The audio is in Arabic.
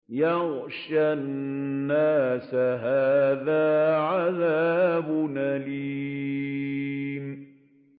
يَغْشَى النَّاسَ ۖ هَٰذَا عَذَابٌ أَلِيمٌ